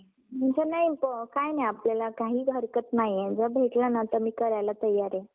नाही काय नाही अपल्याला काहीच हरकत नाही जर भेटलं ना तर मी करायला तयार आहे.